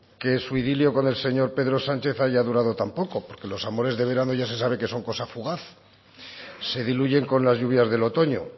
que su idilio con el señor pedro sánchez haya durado tan poco porque los amores de verano ya se sabe que son cosa fugaz se diluyen con las lluvias del otoño